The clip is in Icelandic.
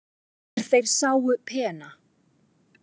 er þeir sáu pena